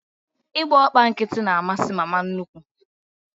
Ị gba ọkpọ nkịtị na amasị mama nnukwu